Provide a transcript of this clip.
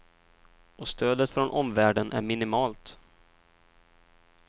Och stödet från omvärlden är minimalt.